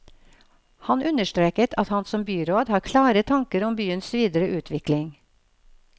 Han understreket at han som byråd har klare tanker om byens videre utvikling.